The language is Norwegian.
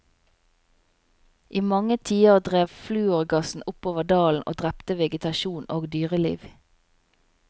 I mange tiår drev flurogassen oppover dalen og drepte vegetasjon og dyreliv.